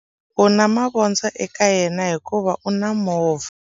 U na mavondzo eka yena hikuva u na movha.